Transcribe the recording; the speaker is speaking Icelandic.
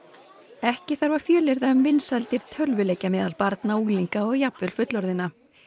ekki þarf að fjölyrða um vinsældir tölvuleikja meðal barna unglinga og jafnvel fullorðinna